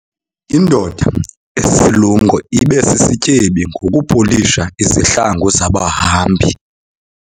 Indoda esisilumko ibe sisityebi ngokupolisha izihlangu zabahambi.